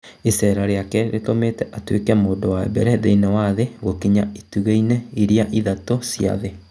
Icera rĩake rĩtũmĩte atuĩke mũndũ wa mbere thĩinĩ wa thĩ gũkinya 'itugĩ-inĩ iria ithatũ" cia thĩ